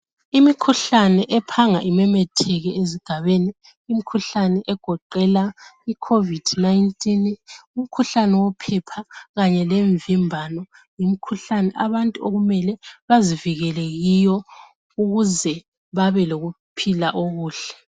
Imikhuhlane ephanga imemetheke ezigabeni imikhuhlane egoqela icovid 19 umkhuhlane wophepha kanye lemvimbano yimkhuhlani okumele abantu bazivikele Kiyo ukuze babe lokuphila okuhle